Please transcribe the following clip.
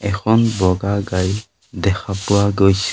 এখন বগা গাড়ী দেখা পোৱা গৈছে।